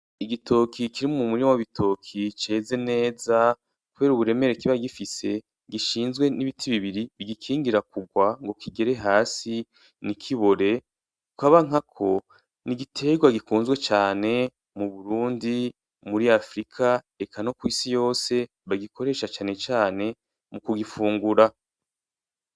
Igitoke kiri m'umurima w'ibitoke ceze neza, kubera uburemere kiba gifise gishinzwe n'ibiti bibiri bigikingira kurwa ngo kigere hasi ntikibore. Kukaba nkako n'iiterwa gikunzwe cane mu Burundi, muri Africa eka no kw'isi hose bagikoresha cane cane mugufungura.